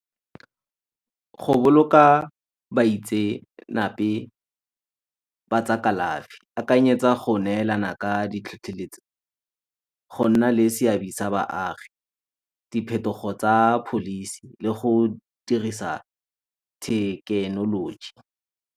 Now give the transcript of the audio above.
Go boloka baitsenape ba tsa kalafi. Akanyetsa go neelana ka ditlhotlheletso, go nna le seabe sa baagi, diphetogo tsa pholisi le go dirisa thekenoloji.